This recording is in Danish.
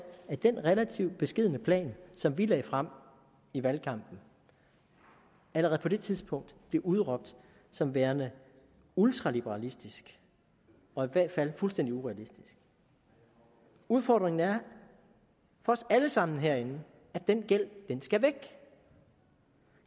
at den relativt beskedne plan som vi lagde frem i valgkampen allerede på det tidspunkt blev udråbt som værende ultraliberalistisk og i hvert fald fuldstændig urealistisk udfordringen er for os alle sammen herinde at den gæld skal væk